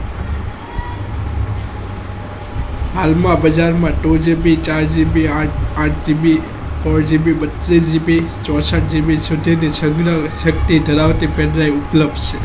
હાલમાં બજારમાં two GB ચાર જીબી ચાર જીબી બત્તીસ જીબી ચોસાટ જીબી pendrive ધરાવતી ઉપલબ્ધ છે